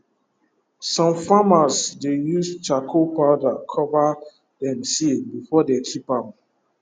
some farmers dey use charcoal powder cover dem seed before dey keep ahm